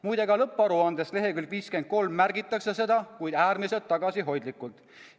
Muide, ka lõpparuande leheküljel 53 märgitakse seda, kuid äärmiselt tagasihoidlikult.